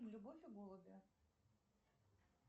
любовь и голуби